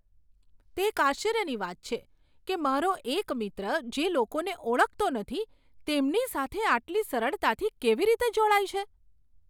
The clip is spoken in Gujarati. તે એક આશ્ચર્યની વાત છે કે મારો એક મિત્ર જે લોકોને ઓળખતો નથી તેમની સાથે આટલી સરળતાથી કેવી રીતે જોડાય છે.